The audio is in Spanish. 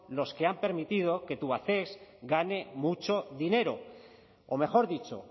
los que han permitido que tubacex gane mucho dinero o mejor dicho